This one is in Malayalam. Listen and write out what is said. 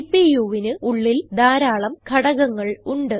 CPUവിന് ഉള്ളിൽ ധാരാളം ഘടകങ്ങൾ ഉണ്ട്